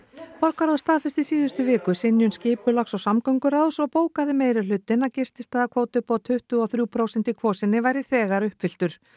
borgarráð staðfesti í síðustu viku synjun skipulags og samgönguráðs og bókaði meirihlutinn að gististaðakvóti upp á tuttugu og þrjú prósent í Kvosinni væri þegar uppfylltur